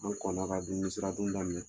An kɔn na ka dumuni daminɛ.